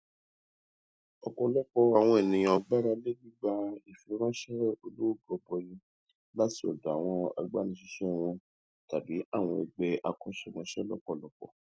ọpọlọpọ àwọn ènìyàn gbáralé gbígbà ìfiránṣẹ olówó gọbọi láti ọdọ àwọn agbanisíṣẹ wọn tàbí àwọn ẹgbẹ akọṣẹmọṣẹ lọpọlọpọ